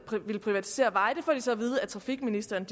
villet privatisere veje det får de så at vide af trafikministeren